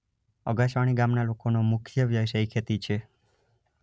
અગાસવણી ગામના લોકોનો મુખ્ય વ્યવસાય ખેતી છે.